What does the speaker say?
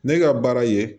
Ne ka baara ye